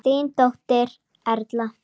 Þín dóttir Erla.